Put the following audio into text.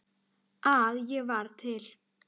að ég var til.